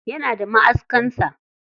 Yana da maʼaskan sa.